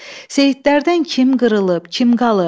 Seyidlərdən kim qırılıb, kim qalıb?